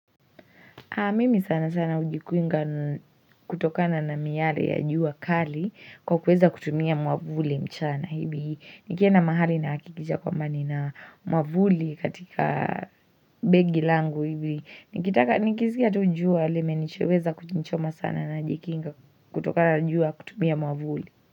Haa, mimi sana sana ujikuinga kutokana na miyale ya jua kali kwa kuweza kutumia mwavuli mchana hibi, nikia na mahali na hakikicha kwa mbani na mwavuli katika begi langu hivi, nikitaka nikisikia tu jua lime nicheweza kunichoma sana najikinga kutokana na jua kutumia mwavuli.